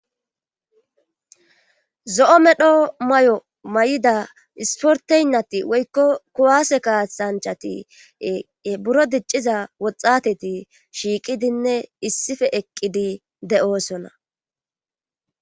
Zo7o medho may'o may'ida isporteynnati woykko kuwase kaatsanchati buro dicciza woxateti shiiqidinne issife eqqidi de'oosona.